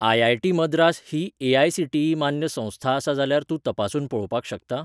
IIT Madras ही AICTE मान्य संस्था आसा जाल्यार तूं तपासून पळोवपाक शकता?